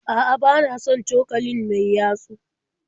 A'a bana son cokalin mai yatsu